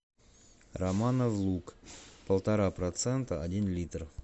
романов луг полтора процента один литр